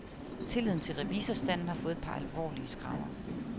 Tilliden til revisorstanden har fået et par alvorlige skrammer.